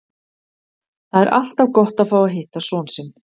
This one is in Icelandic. Það er alltaf gott að fá að hitta son sinn.